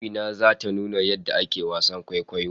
Amina zata nuna yadda ake wasan kwaikwayo